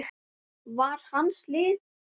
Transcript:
var hans lið.